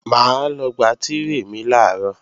Mà á lọ gba tírè mi làárọ̀